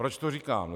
Proč to říkám?